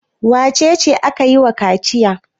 Wace ce ake yi wa kaciya?